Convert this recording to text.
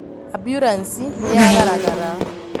amburanci nĩyagaragara